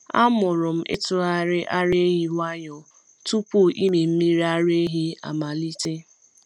Amụrụ m ịtụgharị ara ehi nwayọọ tupu ịmị mmiri ara ehi amalite.